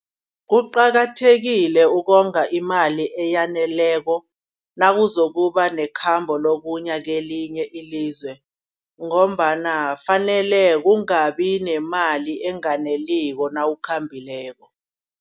Kuqakathekile ukonga imali eyaneleko. Nawuzokuba nekhamba lokuya kelinye ilizwe ngombana fanele kungabi nemali enganeliko nawukhambileko.